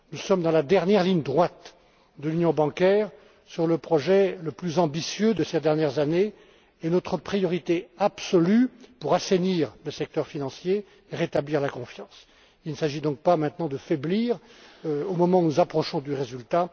Nous sommes dans la dernière ligne droite de l'union bancaire sur le projet le plus ambitieux de ces dernières années et notre priorité absolue pour assainir le secteur financier est de rétablir la confiance. Il ne s'agit donc pas maintenant de faiblir au moment où nous approchons du